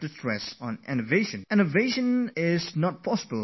And innovation is not possible without science and technology